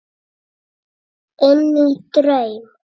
Inní draum.